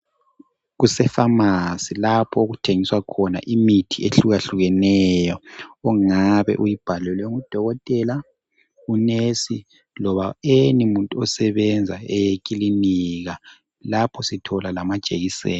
Kuse famasi lapho okuthengiswa khona imithi ehlukahlukeneyo ongabe uyibhalelwe ngu dokotela, unesi loba any muntu osebenza ekilinika lapho sithola lama jekiseni.